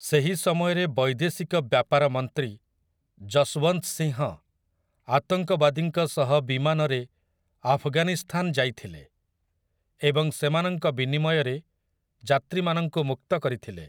ସେହି ସମୟରେ ବୈଦେଶିକ ବ୍ୟାପାର ମନ୍ତ୍ରୀ ଯଶୱନ୍ତ ସିଂହ, ଆତଙ୍କବାଦୀଙ୍କ ସହ ବିମାନରେ ଆଫଗାନିସ୍ତାନ ଯାଇଥିଲେ ଏବଂ ସେମାନଙ୍କ ବିନିମୟରେ ଯାତ୍ରୀମାନଙ୍କୁ ମୁକ୍ତ କରିଥିଲେ ।